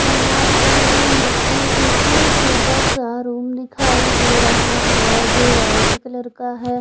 यहाँ पर मुझे एक छोटा सा रूम दिखाई दे रहा है जो वाइट कलर का है।